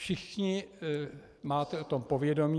Všichni máme o tom povědomí.